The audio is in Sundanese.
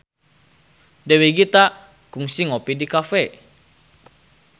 Dewi Gita kungsi ngopi di cafe